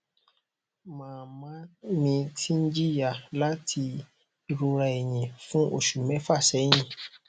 mama mi ti n jiya lati irora ẹyìn fún osu mẹfa sẹyìn